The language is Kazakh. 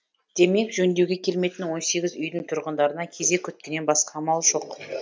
демек жөндеуге келмейтін он сегіз үйдің тұрғындарына кезек күткеннен басқа амал жоқ